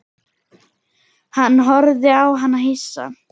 Hann horfði á hana hissa.